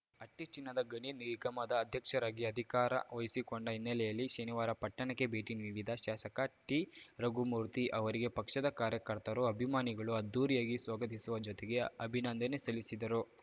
ಹಟ್ಟಿಚಿನ್ನದ ಗಣಿ ನಿಗಮದ ಅಧ್ಯಕ್ಷರಾಗಿ ಅಧಿಕಾರ ವಹಿಸಿಕೊಂಡ ಹಿನ್ನೆಲೆಯಲ್ಲಿ ಶನಿವಾರ ಪಟ್ಟಣಕ್ಕೆ ಭೇಟಿ ನೀಡಿದ ಶಾಸಕ ಟಿರಘುಮೂರ್ತಿ ಅವರಿಗೆ ಪಕ್ಷದ ಕಾರ್ಯಕರ್ತರು ಅಭಿಮಾನಿಗಳು ಅದ್ಧೂರಿಯಾಗಿ ಸ್ವಾಗತಿಸುವ ಜೊತೆಗೆ ಅಭಿನಂದನೆ ಸಲ್ಲಿಸಿದರು